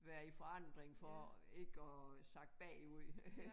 Være i forandring for ikke at sakke bagud